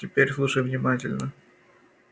теперь слушай внимательно